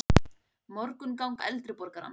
Morgunganga eldri borgarans.